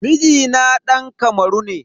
Mijina dan Kamaru ne.